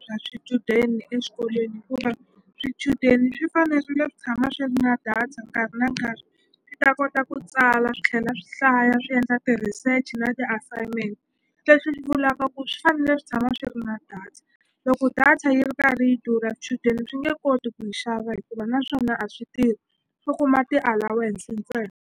bya swichudeni exikolweni hikuva swichudeni swi fanerile ku tshama swi ri na data nkarhi na nkarhi swi ta kota ku tsala swi tlhela swi hlaya swi endla ti-research na ti-assignment leswi swi vulaka ku swi fanele swi tshama swi ri na data loko data yi ri karhi yi durha swi nge koti ku yi xava hikuva naswona a swi tirhi swo kuma ti-allownace .